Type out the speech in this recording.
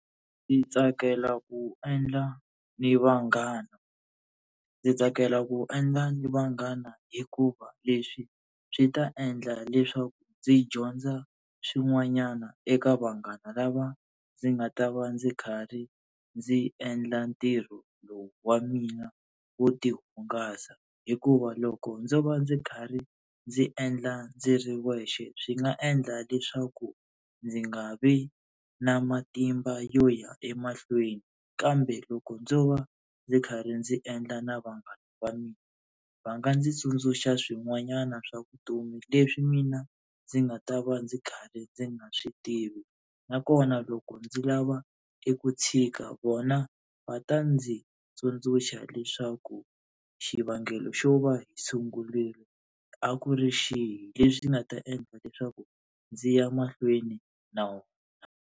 Ndzi tsakela ku endla ni vanghana, ndzi tsakela ku endla ni vanghana hikuva leswi swi ta endla leswaku ndzi dyondza swin'wanyana eka vanghana lava ndzi nga ta va ndzi kha ri ndzi endla ntirho lowu wa mina wo tihungasa, hikuva loko ndzo va ndzi karhi ndzi endla ndzi ri wexe swi nga endla leswaku ndzi nga vi na matimba yo ya emahlweni. Kambe loko ndzo va ndzi karhi ndzi endla na vanghana va mina va nga ndzi tsundzuxa swin'wanyana swa vutomi leswi mina ndzi nga ta va ndzi karhi ndzi nga swi tivi. Nakona loko ndzi lava eku tshika vona va ta ndzi tsundzuxa leswaku xivangelo xo va hi sungurile a ku ri xihi, leswi nga ta endla leswaku ndzi ya mahlweni na wona.